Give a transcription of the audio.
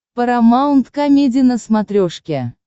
парамаунт комеди на смотрешке